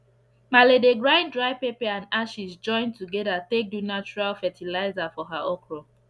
malee dey grind dry pepper and ashes join together take do natural fertiliser for her okro